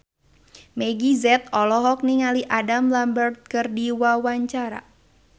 Meggie Z olohok ningali Adam Lambert keur diwawancara